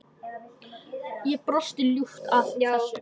Ég brosi ljúft að þessu.